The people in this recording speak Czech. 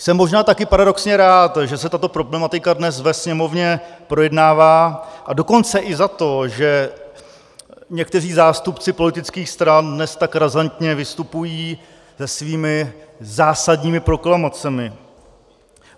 Jsem možná taky paradoxně rád, že se tato problematika dnes ve Sněmovně projednává, a dokonce i za to, že někteří zástupci politických stran dnes tak razantně vystupují se svými zásadními proklamacemi.